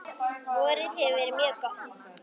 Vorið hefur verið mjög gott.